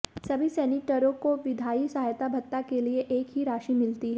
सभी सीनेटरों को विधायी सहायता भत्ता के लिए एक ही राशि मिलती है